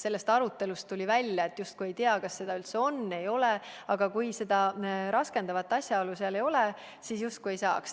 Sellest arutelust tuli välja, et justkui ei tea, kas seda üldse on või ei ole, aga kui seda raskendavat asjaolu seal ei ole, siis justkui ei saaks.